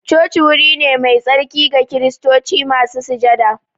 Coci wuri ne mai tsarki ga kiristoci masu sujada